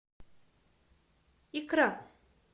икра